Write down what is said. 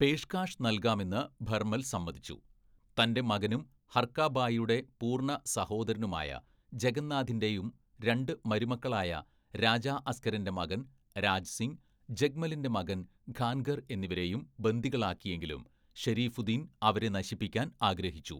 പേഷ്കാഷ് നൽകാമെന്ന് ഭർമൽ സമ്മതിച്ചു, തന്റെ മകനും ഹർക ബായിയുടെ പൂർണ്ണ സഹോദരനുമായ ജഗന്നാഥിന്റെയും രണ്ട് മരുമക്കളായ രാജാ അസ്‌കരന്റെ മകൻ രാജ് സിംഗ്, ജഗ്മലിന്റെ മകൻ ഖാൻഗർ എന്നിവരെയും ബന്ദികളാക്കിയെങ്കിലും ഷരീഫുദ്ദീന്‍ അവനെ നശിപ്പിക്കാൻ ആഗ്രഹിച്ചു.